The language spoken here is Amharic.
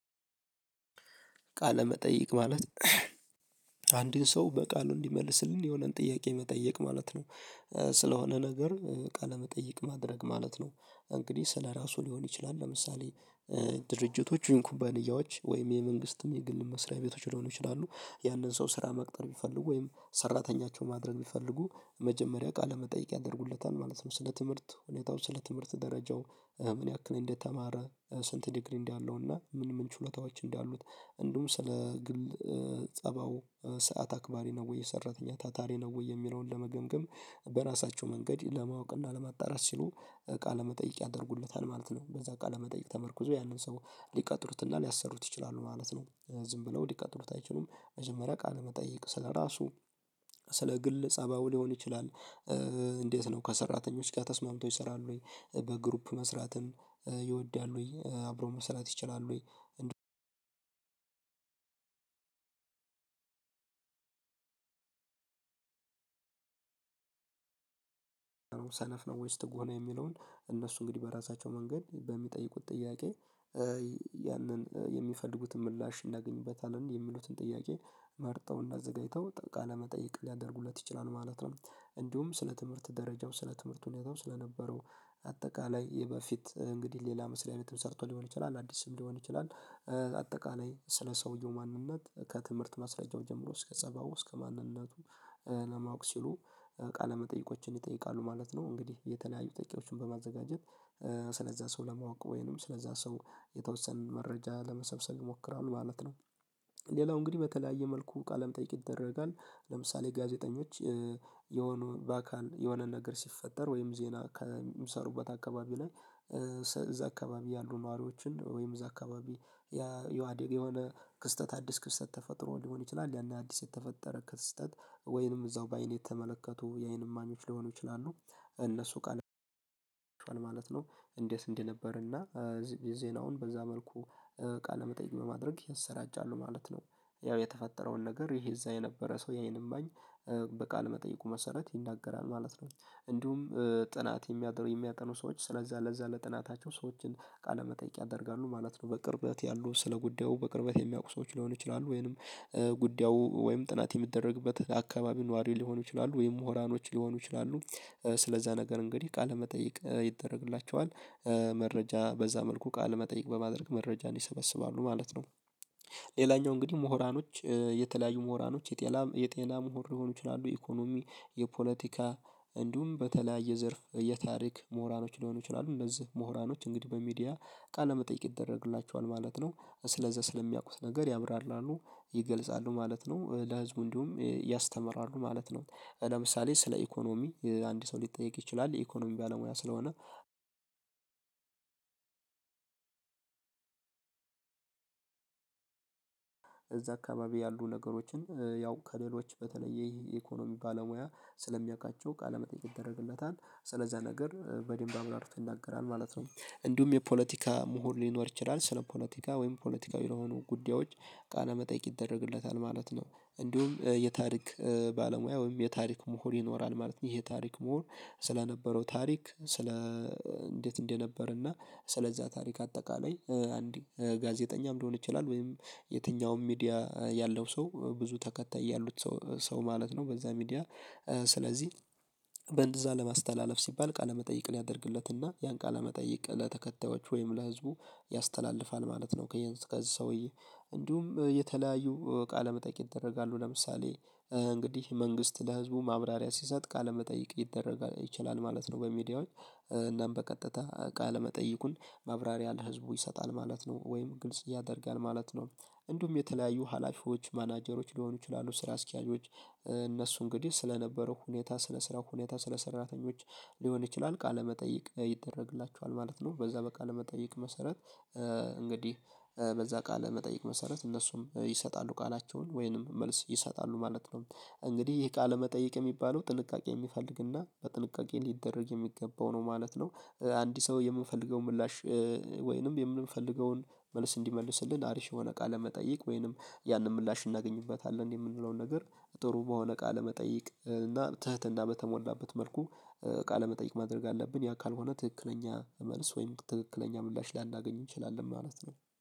ቃለ መጠይቅ ማለት አንድን ሰው በቃሉ እንዲመልስልን የሆነን ጥያቄ መጠየቅ ማለት ነው። ስለሆነ ነገር ቃለመጠየቅ ማድረግ ማለት ነው። እንግዲህ ስለራሱ ሊሆን ይችላል። ለምሳሌ ድርጅቶች ይሁን ኩባንያዎች ወይም የመንግስትም የግልም መስሪያ ቤቶች ሊሆኑ ይችላሉ፤ ያንን ሰው ስራ መቅጠር ቢፈልጉ ወይም ሰራተኛቻቸው ማድረግ ቢፈልጉ መጀመሪያ ቃለመጠይቅ ያደርጉለታል ማለት ነው። ስለ ትምህርት ሁኔታው፣ ስለ ትምህርት ደረጃው፣ ምን ያክል እንደተማረ፣ ስንት ዲግሪ እንዳለውና ምን ምን ችሎታዎች እንዳሉት እንዲሁም ስለ ግል ጸባው፣ ሰዓት አክባሪ ነው ወይ? የሰራተኛ ታታሪ ነው ወይ? የሚለውን ለመገምገም በራሳቸው መንገድ ለማወቅና ለማጣራት ሲሉ ቃለ መጠየቅ ያደርጉለታል ማለት ነው። በዛ ቃለ መጠየቅ ተመርኩዘው ያንን ሰው ሊቀጥሩትና ሊያሰሩት ይችላሉ ማለት ነው። ዝም ብለው ሊቀጥሩት አይችሉም። መጀመሪያ ቃል መጠየቅ ስለራሱ ስለ ግል ፀባዩ ሊሆን ይችላል። እንዴት ነው ከሰራተኞች ጋር ተስማምቶ ይሰራል ወይ? በግሩፕ መስራትም ይወዳል ወይ? አብሮ መስራት ይችላል ወይ? አንድ ሰነፍ ነው ወይስ ትጉህ ነው? የሚለውን እነሱ እንግዲህ በራሳቸው መንገድ በሚጠይቁት ጥያቄ ያንን የሚፈልጉትን ምላሽ እናገኝበታለን የሚሉትን ጥያቄ መርጠው እናዘጋጅተው ቃለ መጠየቅ ሊያደርጉለት ይችላሉ ማለት ነው። እንዲሁም ስለ ትምህርት ደረጃም ስለ ትምህርት ሁኔታም ስለነበረው አጠቃላይ ይሄ በፊት እንግዲህ ሌላ መስሪያ ቤትም ሰርቶ ሊሆን ይችላል አዲስ ስም ሊሆን ይችላል አጠቃላይ ስለ ሰውየው ማንነት ከትምህርት ማስረጃው ጀምሮ እስከ ጸባው እስከ ማንነቱ ለማወቅ ሲሉ ቃለ ቃለመጠይቆችን ይጠይቃሉ ማለት ነው። እንግዲህ የተለያዩ ጥያቄዎችን በማዘጋጀት ስለዛ ሰው ለማወቅ ወይንም ስለዛ ሰው የተወሰነ መረጃ ለመሰብሰብ ይሞክራሉ ማለት ነው። ሌላው እንግዲህ በተለያየ መልኩ ቃለም ጠይቅ ይደረጋል። ለምሳሌ ጋዜጠኞች የሆኑ ባካል የሆነ ነገር ሲፈጠር ወይም ዜና ከሚሰሩበት አካባቢ ላይ እዛ አካባቢ ያሉ ነዋሪዎችን ወይም እዛ አካባቢ የዋዴግ የሆነ ክስተት አዲስ ክስተት ተፈጥሮ ሊሆን ይችላል። ያን አዲስ የተፈጠረ ክስተት ወይንም እዛው በአይን የተመለከቱ የአይን ማሚዎች ሊሆኑ ይችላሉ እነሱ ቃል ማለት ነው። እንዴት እንዴት ነበር እና ዜናውን በዛ መልኩ ቃለ መጠየቅ በማድረግ ያሰራጫሉ ማለት ነው። ያው የተፈጠረውን ነገር ይሄ እዛ የነበረ ሰው የአይን እማኝ በቃለ መጠየቁ መሰረት ይናገራል ማለት ነው። እንዲሁም ጥናት የሚያጠን የሚያጠኑ ሰዎች ስለዛ ለዛ ለጥናታቸው ሰዎችን ቃለመጠይቅ ያደርጋሉ ማለት ነው። በቅርበት ያሉ ስለ ጉዳዩ በቅርበት የሚያውቁ ሰዎች ሊሆኑ ይችላሉ ወይንም ጉዳዩ ወይም ጥናት የሚደረግበት አካባቢ ነዋሪ ሊሆኑ ይችላሉ ወይም ሙህራኖች ሊሆኑ ይችላሉ። ስለዛ ነገር እንግዲህ ቃለመጠይቅ ይደረግላቸዋል። መረጃ በዛ መልኩ ቃል መጠይቅ በማድረግ መረጃ ይሰበስባሉ ማለት ነው። ሌላኛው እንግዲህ ምሁራኖች የተለያዩ ምሁራኖች የጤና የጤና ምሁር ሊሆኑ ይችላሉ፤ ኢኮኖሚ፣ የፖለቲካ እንዲሁም በተለያየ ዘርፍ የታሪክ ምሁራኖች ሊሆኑ ይችላሉ። እነዚህ ምሁራኖች እንግዲህ በሚዲያ ቃለመጠየቅ ይደረግላቸዋል ማለት ነው። ስለዛ ስለሚያውቁት ነገር ያብራራሉ፤ ይገልጻሉ ማለት ነው። ለህዝቡ እንዲሁም ያስተምራሉ ማለት ነው። ለምሳሌ ስለ ኢኮኖሚ አንድ ሰው ሊጠየቅ ይችላል፤ የኢኮኖሚ ባለሙያ ስለሆነ እዛ አካባቢ ያሉ ነገሮችን ያው ከሌሎች በተለይ የኢኮኖሚ ባለሙያ ስለሚያውቃቸው ቃለመጠይቅ ይደረግለታል። ስለዛ ነገር በደንብ አብራርቶ ይናገራል ማለት ነው። እንዲሁም የፖለቲካ ምሁር ሊኖር ይችላል። ስለ ፖለቲካ ወይም ፖለቲካዊ የሆኑ ጉዳዮች ቃለ መጠየቅ ይደረግለታል ማለት ነው። እንዲሁም የታሪክ ባለሙያ ወይም የታሪክ ምሁር ይኖራል። ማለት ነው፤ ይሄ ታሪክ ምሁር ስለነበረው ታሪክ ስለ እንዴት እንደነበር እና ስለዛ ታሪክ አጠቃላይ አንድ ጋዜጠኛም ሊሆን ይላል ወይም የትኛውም ሚዲያ ያለው ሰው ብዙ ተከታይ ያሉት ሰው ማለት ነው በዛ ሚዲያ ስለዚህ በእንደዛ ለማስተላለፍ ሲባል ቃለመጠይቅን ያደርግለትና ያን ቃለመጠይቅ ለተከታዮች ወይም ለህዝቡ ያስተላልፋል ማለት ነው። ከዚህ ከዚህ ሰውዬ እንዲሁም የተለያዩ ቃለ መጠቂያ ይደረጋሉ። ለምሳሌ እንግዲህ መንግስት ለህዝቡ ማብራሪያ ሲሰጥ ቃለመጠይቅ ሊደረግ ይችላል ማለት ነው በሚዲያዎች። እና በቀጥታ ቃለ መጠይቁን ማብራሪያ ለህዝቡ ይሰጣል ማለት ነው፤ ወይም ግልጽ ያደርጋል ማለት ነው። እንዲሁም የተለያዩ ሀላፊዎች ማናጀሮች ሊሆኑ ይችላሉ ስራ አስኪያጆች እነሱ እንግዲህ ስለነበረው ሁኔታ ስለ ስራው ሁኔታ ስለ ሰራተኞች ሊሆን ይችላል ቃለመጠይቅ ይደረግላቸዋል ማለት ነው። በዛ በቃለ መጠይቅ መሰረት እንግዲህ በዛ ቃል መጠየቅ መሰረት እነሱም ይሰጣሉ ቃላቸውን ወይንም መልስ ይሰጣሉ ማለት ነው። እንግዲህ ይህ ቃለ መጠየቅ የሚባለው ጥንቃቄ የሚፈልግና በጥንቃቄ ሊደረግ የሚገባው ነው ማለት ነው። አንድ ሰው የሚፈልገው ምላሽ ወይንም የምንፈልገውን መልስ እንዲመልስልን አሪፍ የሆነ ቃለ መጠይቅ ወይንም ያንን ምላሽ እናገኝበታለን የምንለውን ነገር ጥሩ በሆነ ቃለመጠይቅ እና ትህትና በተሞላበት መልኩ እቃ ለመጠየቅ ማድረግ አለብን። ያ ካልሆነ ትክክለኛ መልስ ወይም ትክክለኛ ምላሽ ላናገኝ እንችላለን ማለት ነው።